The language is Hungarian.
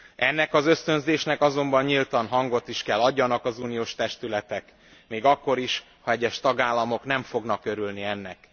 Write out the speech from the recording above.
Ennek az ösztönzésnek azonban nyíltan hangot is kell adjanak az uniós testületek, még akkor is, ha egyes tagállamok nem fognak örülni ennek.